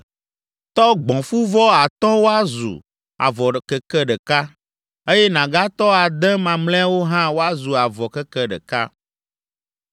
Tɔ gbɔ̃fuvɔ atɔ̃ woazu avɔ keke ɖeka, eye nàgatɔ ade mamlɛawo hã woazu avɔ keke ɖeka.